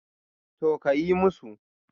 To, kayi musu